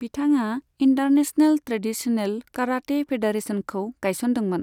बिथाङा international traditional karate फेडारेशनखौ गायसनदोंमोन।